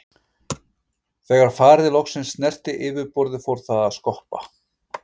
Þegar farið loksins snerti yfirborðið fór það að skoppa.